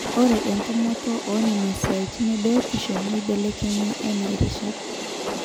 ore entumoto oonena siaitin ebiotisho neibelekenya enaa irishat